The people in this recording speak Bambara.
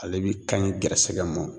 Ale bi ka ɲi gɛrɛsɛgɛ mɔ